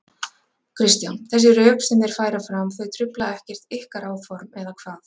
Kristján: Þessi rök sem þeir færa fram, þau trufla ekkert ykkar áform, eða hvað?